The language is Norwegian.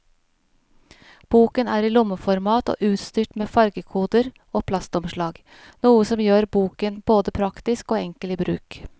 Boken er i lommeformat og utstyrt med fargekoder og plastomslag, noe som gjør boken både praktisk og enkel i bruk.